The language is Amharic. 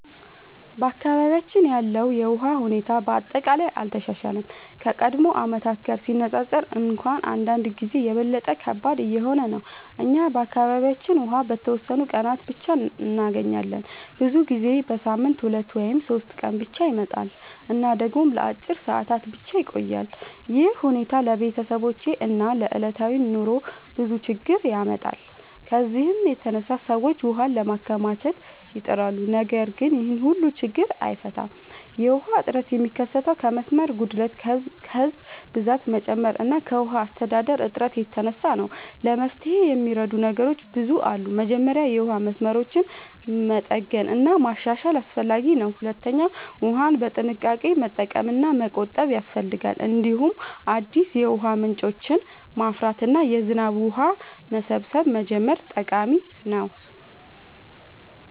በአካባቢያችን ያለው የውሃ ሁኔታ በአጠቃላይ አልተሻሻለም፤ ከቀድሞ ዓመታት ጋር ሲነፃፀር እንኳን አንዳንድ ጊዜ የበለጠ ከባድ እየሆነ ነው። እኛ በአካባቢያችን ውሃ በተወሰኑ ቀናት ብቻ እንገኛለን፤ ብዙ ጊዜ በሳምንት 2 ወይም 3 ቀን ብቻ ይመጣል እና ደግሞ ለአጭር ሰዓታት ብቻ ይቆያል። ይህ ሁኔታ ለቤተሰቦች እና ለዕለታዊ ኑሮ ብዙ ችግኝ ያመጣል። ከዚህ የተነሳ ሰዎች ውሃ ለማከማቸት ይጥራሉ፣ ነገር ግን ይህም ሁሉን ችግኝ አይፈታም። የውሃ እጥረት የሚከሰተው ከመስመር ጉድለት፣ ከህዝብ ብዛት መጨመር እና ከውሃ አስተዳደር እጥረት የተነሳ ነው። ለመፍትሄ የሚረዱ ነገሮች ብዙ አሉ። መጀመሪያ የውሃ መስመሮችን መጠገን እና ማሻሻል አስፈላጊ ነው። ሁለተኛ ውሃን በጥንቃቄ መጠቀም እና መቆጠብ ያስፈልጋል። እንዲሁም አዲስ የውሃ ምንጮችን ማፍራት እና የዝናብ ውሃ መሰብሰብ መጀመር ጠቃሚ ነው።